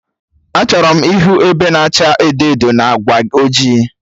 Achọrọ m ịhụ ebe na acha edo edo na agba ọjị